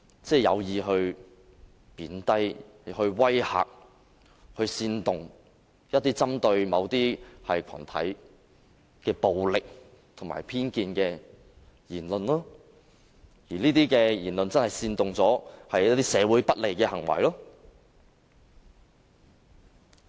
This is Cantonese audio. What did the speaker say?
即是有意貶低、威嚇、煽動、針對某類群體的暴力、偏頗言論，這些言論會煽動社會上的不利行為。